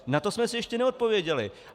Na to jsme si ještě neodpověděli.